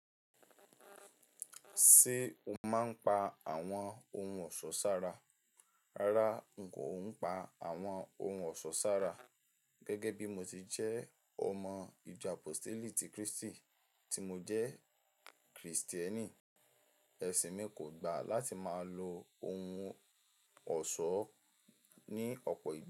Ṣé o máa ń pa àwọn ohun ọ̀ṣọ́ sára? Rárá, n kò ń pa àwọn ohun ọ̀ṣọ́ sára. Gẹ́gẹ́ bí mo ti jẹ́ ọmọ ìjọ Apostolic ti Kristi tí mo jẹ́ Kristẹni, ẹ̀sìn mi kò gbà láti máa lo ohun ọ̀ṣọ́ ní ọ̀pọ̀ ìgbà.